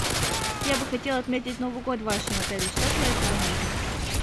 я бы хотела отметить новый год в вашем отеле что для этого нужно